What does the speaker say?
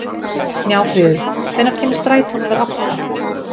Snjáfríður, hvenær kemur strætó númer átta?